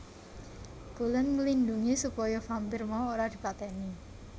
Cullen nglindhungi supaya vampir mau ora dipateni